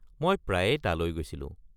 মই প্ৰায়েই তালৈ গৈছিলো।